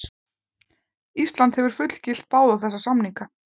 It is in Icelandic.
Ísland hefur fullgilt báða þessa samninga.